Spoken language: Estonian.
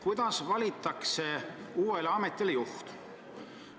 Kuidas valitakse uuele ametile juht?